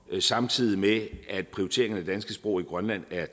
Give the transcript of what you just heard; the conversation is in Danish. samtidig med at prioriteringen af det danske sprog i grønland er